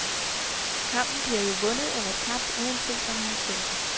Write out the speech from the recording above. Kampen bliver jo vundet eller tabt, uanset om han ser den.